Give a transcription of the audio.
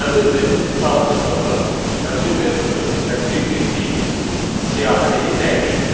Həmin metod sadəcə olaraq həmin metodu tətbiq etdiyimiz siyahını dəyişdirir.